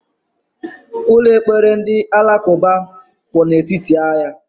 Ụlọ ekpere ndị Alakuba kwu n' etiti ahia